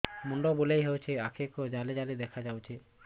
ମୁଣ୍ଡ ବୁଲେଇ ଦେଉଛି ଆଖି କୁ ଜାଲି ଜାଲି ଦେଖା ଯାଉଛି